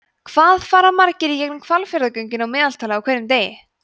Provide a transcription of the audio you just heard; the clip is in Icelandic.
hvað fara margir í gegnum hvalfjarðargöngin að meðaltali á hverjum degi